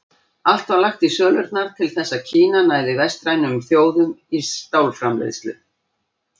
Allt var lagt í sölurnar til þess að Kína næði vestrænum þjóðum í stálframleiðslu.